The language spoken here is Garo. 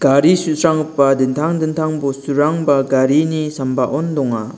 gari su·sranggipa dintang dintang bosturangba garini sambaon donga.